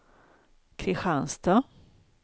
Kristianstad